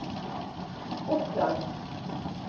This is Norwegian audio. Oppland